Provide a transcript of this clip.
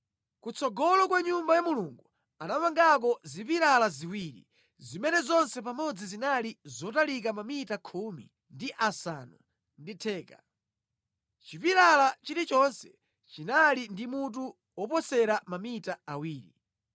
Kutsogolo kwa Nyumba ya Mulungu anamangako zipilala ziwiri, zimene zonse pamodzi zinali zotalika mamita khumi ndi asanu ndi theka; chipilala chilichonse chinali ndi mutu woposera mamita awiri.